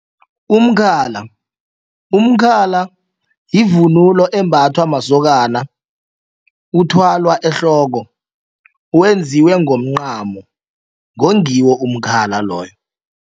Umkhala, umkhala yivunulo embathwa masokana uthwalwa ehloko wenziwe ngomncamo ngongiwo umkhala loyo.